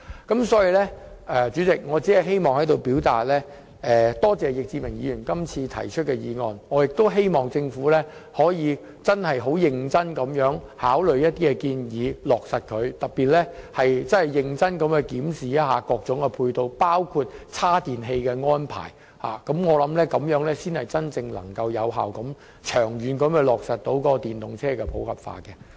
代理主席，我在此感謝易志明議員提出今天的議案，亦希望政府能認真考慮並落實易議員的建議，尤其須認真檢視各種配套的安排，包括充電設施，這樣才能長遠有效地在本港落實電動車普及化。